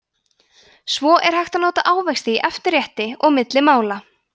svo er hægt að nota ávexti í eftirrétti og milli mála